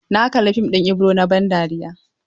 Na kalla fim ɗin Ibro na ban dariya.